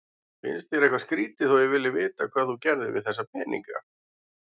Finnst þér eitthvað skrýtið þó að ég vilji vita hvað þú gerðir við þessa peninga?